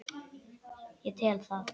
Ég tel það.